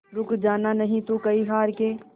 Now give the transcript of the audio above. रुक जाना नहीं तू कहीं हार के